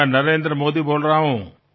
আমি নরেন্দ্র মোদী কথা বলছি